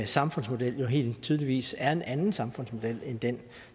samfundsmodel jo helt tydeligt er en anden samfundsmodel end den